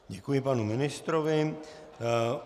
Děkuji panu ministrovi.